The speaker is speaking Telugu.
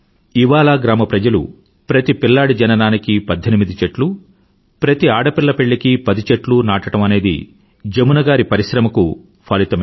ఇవాలా గ్రామప్రజలు ప్రతి పిల్లాడి జననానికీ పధ్ధెనిమిది చెట్లు ప్రతి ఆడపిల్ల పెళ్ళీకి పది చెట్లు నాటడం అనేది జమున గారు పరిశ్రమకు ఫలితమే